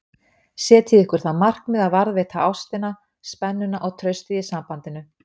Setjið ykkur það markmið að varðveita ástina, spennuna og traustið í sambandinu